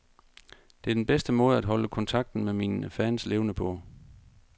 Det er den bedste måde at holde kontakten med mine fans levende på.